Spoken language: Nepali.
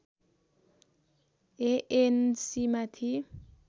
एएनसी माथि